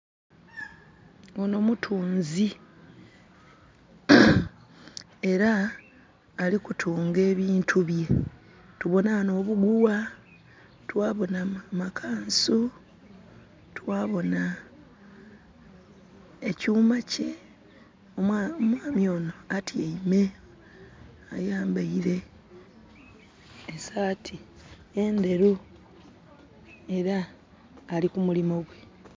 Ono mutunzi era alikutunga ebintu bye. Tubona wano obuguwa, twabona makansu, twabona ekyuma kye. Omwami ono atyaime. Ayambaire esaati enderu era ali kumulimo gwe